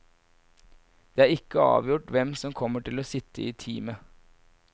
Det er ikke avgjort hvem som kommer til å sitte i teamet.